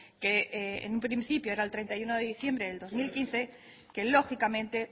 que en un principio era el treinta y uno de diciembre de dos mil quince que lógicamente